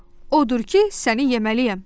Odur ki, səni yeməliyəm.